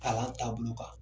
Kalan taabolo kan.